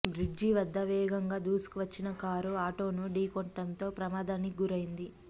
bridge వద్ద వేగంగా దూసుకువచ్చిన కారు ఆటోను ఢీ కొట్టడంతో ప్రమాదానికి గురైంది